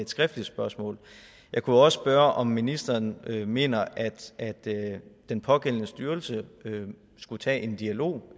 skriftligt spørgsmål jeg kunne også spørge om ministeren mener at den pågældende styrelse skulle tage en dialog